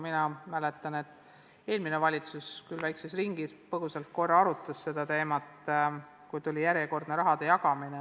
Minagi mäletan, et eelmine valitsus, seda küll väikses ringis, põgusalt korra arutas seda teemat, kui tuli järjekordne raha jagamine.